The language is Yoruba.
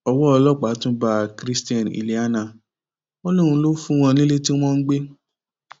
owó ọlọpàá tún bá christian iliana wọn lòun lọ fún wọn nílé tí wọn ń gbé